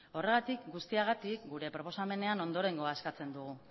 horregatik guztiagatik gure proposamenean ondorengoa eskatzen dugu